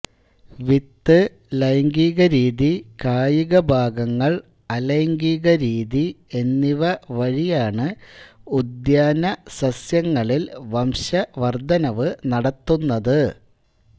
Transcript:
വിത്ത് ലൈംഗികരീതി കായികഭാഗങ്ങൾ അലൈംഗികരീതി എന്നിവ വഴിയാണ് ഉദ്യാനസസ്യങ്ങളിൽ വംശവർദ്ധനവ് നടത്തുന്നത്